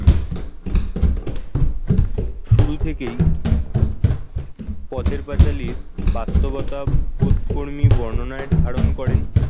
শুরু থেকেই পথের পাঁচালী বাস্তবতাবোধ কর্মী বর্ণনায় ধারণ করেন।